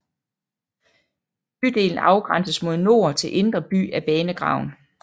Bydelen afgrænses mod nord til Indre By af banegraven